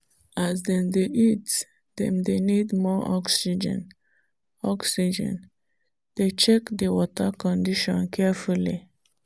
as dem dey eat dem dey need more oxygen oxygen dey check the water condition carefully.